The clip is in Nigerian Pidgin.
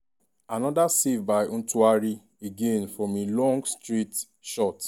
anoda save by ntwari again from a long straight shot.